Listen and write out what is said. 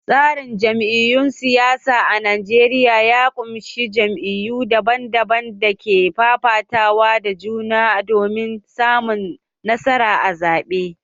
Tsarin jam’iyyun siyasa a Najeriya ya ƙunshi jam’iyyu daban-daban da ke fafatawa da juna domin samun nasara a zaɓe.